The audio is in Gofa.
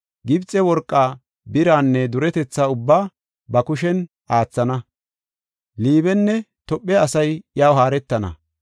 Gibxe worqaa, biraanne duretetha ubbaa, ba kushen aathana. Liibenne Tophe asay iyaw haaretana.